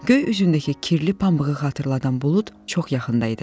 Göy üzündəki kirli pambığı xatırladan bulud çox yaxında idi.